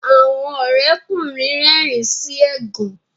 Àwọn Ore ọkùnrin rérìn sí ẹgàn.